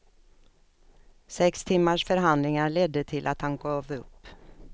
Sex timmars förhandlingar ledde till att han gav upp.